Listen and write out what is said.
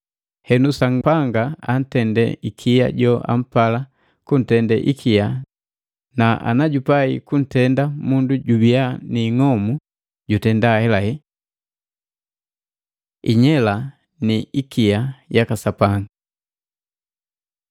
Henu, Sapanga antende ikia joampala kuntende ikia na ana jupai kuntenda mundu jubia niing'omu, jutenda ahelahela. Inyela ni ikia yaka Sapanga